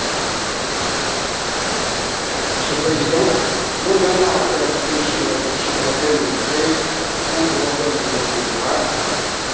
Monsieur le Président, moins d'un an après la proposition de la Commission européenne de créer le Fonds européen de développement durable ce nouvel instrument va entrer en vigueur.